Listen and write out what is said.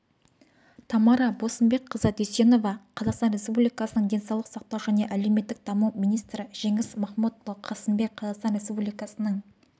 тамара босымбекқызы дүйсенова қазақстан республикасының денсаулық сақтау және әлеуметтік даму министрі жеңіс махмұдұлы қасымбек қазақстан республикасының